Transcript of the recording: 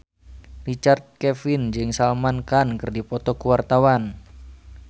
Richard Kevin jeung Salman Khan keur dipoto ku wartawan